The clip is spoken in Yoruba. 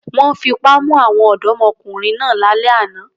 Wọ́n fipá mú àwọn ọ̀dọ́mọkùnrin náà lálẹ́ àná.